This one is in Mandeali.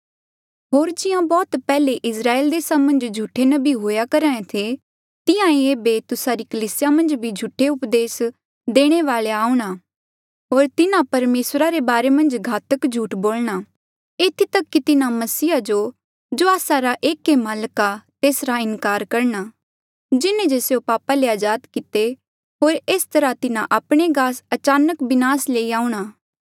होर जिहां बौह्त पैहले इस्राएल देसा मन्झ झूठे नबी हुंहां करहा ऐें थे तिहां ईं ऐबे तुस्सा री कलीसिया मन्झ भी झूठे उपदेस देणे वालेया आऊंणा होर तिन्हा परमेसरा रे बारे मन्झ घातक झूठ बोलणा एथी तक कि तिन्हा मसीह जो आस्सा रा एक ही माल्क ऐें तेसरा इनकार करणा जिन्हें जे स्यों पापा ले अजाद किते होर एस तरहा तिन्हा आपणे गास अचानक बिनास लेई आऊंणा